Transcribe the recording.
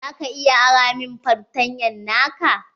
Za ka iya ara min fartanya na ka?